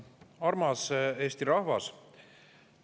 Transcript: Armas Eesti rahvas!